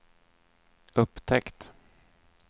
upptäckt